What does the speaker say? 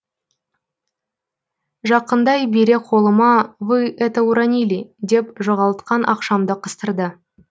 жақындай бере қолыма вы это уронили деп жоғалтқан ақшамды қыстырды